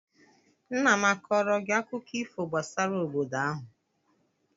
Nna m akọọrọ gị akụkọ ifo gbasara obodo ahụ?